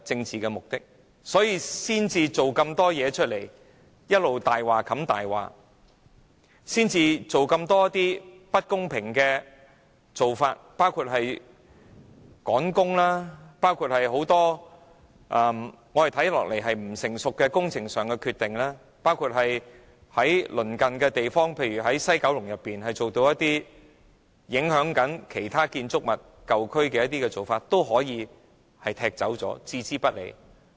所以，政府才一直用謊話掩蓋謊話，採取這麼多不公平的做法，包括趕工、作出很多不成熟的工程上的決定、對於工程對鄰近地方例如西九龍舊區的建築物造成的影響置之不理。